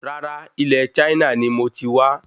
Rárá, ilé Chaina nií mo ti wá